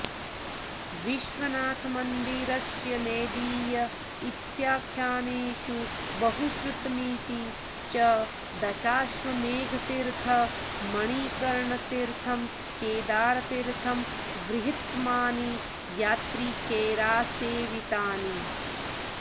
विश्वनाथमन्दिरस्य नेदीय इत्याख्यानेषु बहुश्रुतमिति च दशाश्वमेधतीर्थ मणिकर्णतीर्थं केदारतीर्थं बृहत्तमानि यात्रिकैरासेवितानि